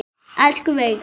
Elsku Veiga.